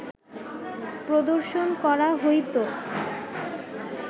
প্রদর্শন করা হইত